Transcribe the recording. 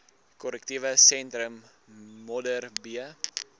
korrektiewe sentrum modderbee